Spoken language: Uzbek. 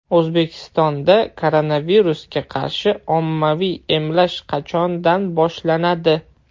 O‘zbekistonda koronavirusga qarshi ommaviy emlash qachondan boshlanadi?